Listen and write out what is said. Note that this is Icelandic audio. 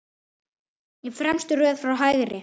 Í fremstu röð frá hægri